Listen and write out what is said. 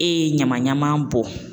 E ye ɲamaɲaman bɔ